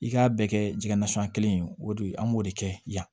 I k'a bɛɛ kɛ jɛgɛ nasɔngɔ in ye o de ye an b'o de kɛ yan